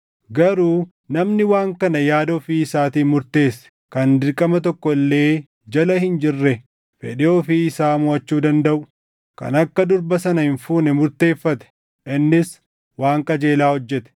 Garuu namni waan kana yaada ofii isaatiin murteesse, kan dirqama tokko illee jala hin jirree fedhii ofii isaa moʼachuu dandaʼu, kan akka durba sana hin fuune murteeffate, innis waan qajeelaa hojjete.